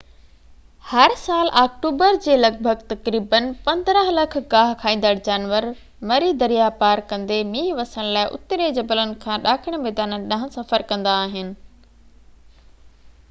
هر سال آڪٽوبر جي لڳ ڀڳ تقريباً 15 لک گاهه کائيندڙ جانور مري درياء پار ڪندي مينهن وسڻ لاءِ اترين جبلن کان ڏاکڻي ميدانن ڏانهن سفر ڪندا آهن